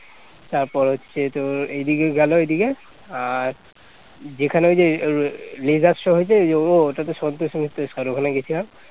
তারপর হচ্ছে তোর এদিকে গেল ঐদিকে আর যেখানে ওই যে laser show হয়েছে ওঃ ওটা তো সন্তোষ মিত্র স্কোয়ার ওখানে গিয়েছিলাম